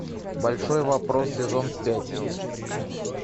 большой вопрос сезон пять